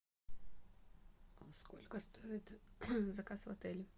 сколько стоит заказ в отеле